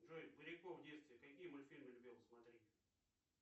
джой поляков в детстве какие мультфильмы любил смотреть